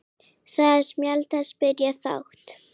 Þetta er samspil margra þátta.